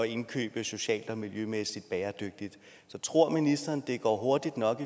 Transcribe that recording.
indkøbe socialt og miljømæssigt bæredygtigt så tror ministeren at det går hurtigt nok